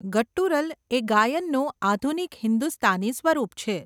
Guttural એ ગાયનનું આધુનિક હિન્દુસ્તાની સ્વરૂપ છે.